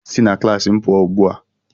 Si na klaasị m pụọ ugbu a!